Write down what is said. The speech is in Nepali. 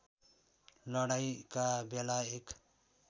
लडाईँँका बेला एक